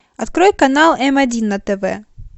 открой канал м один на тв